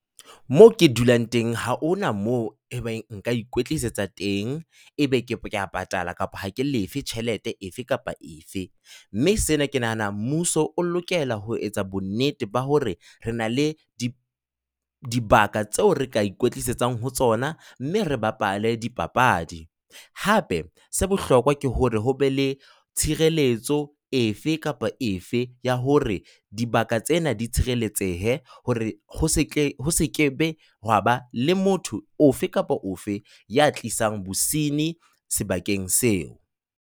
Moo ke dulang teng, ha hona moo ebang nka ikwetlisetsang teng, e be kea patala kapa ha ke lefe tjhelete efe kapa efe, mme sena ke nahana mmuso o lokela ho etsa bonnete ba hore re na le dibaka tseo re ka ikwetlisetsang ho tsona mme re bapale di papadi. Hape se bohlokwa ke hore ho be le tshireletso efe kapa efe ya hore dibaka tsena di tshireletsehe hore ho se ke ho se ke be ha ba le motho ofe kapa ofe ya tlisang bosinyi sebakeng seo.